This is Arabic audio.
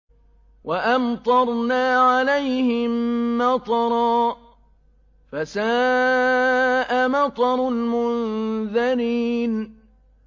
وَأَمْطَرْنَا عَلَيْهِم مَّطَرًا ۖ فَسَاءَ مَطَرُ الْمُنذَرِينَ